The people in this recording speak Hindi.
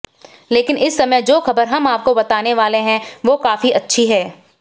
लेकिन इस समय जो खबर हम आपको बताने वाले हैं वो काफी अच्छी हैं